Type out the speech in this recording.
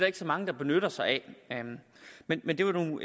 ikke så mange der benytter sig af men men det var nu